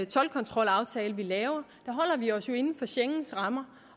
toldkontrolaftale vi laver holder vi os jo inden for schengens rammer